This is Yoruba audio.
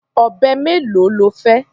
Ọ̀bẹ mélòó lo fẹ́?